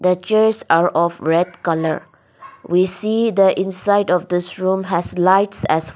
the chairs are of red colour we see the inside of this room has lights as we --